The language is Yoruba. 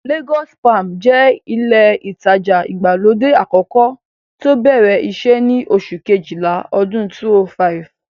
Lagos palms jẹ́ ilé ìtajà ìgbàlódé àkọ́kọ́ tí ó bẹ̀rẹ̀ iṣẹ́ ní oṣù kejìlá ọdún 2005